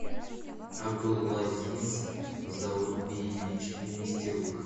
абдулазиз заурбиевич нистерук